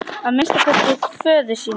Að minnsta kosti föður sínum.